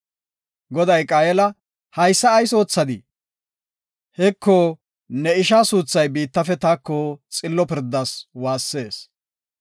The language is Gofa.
Goday Qaayela, “Haysa ayis oothadii? Heko, ne ishaa suuthay biittafe taako xillo pirdas waassees.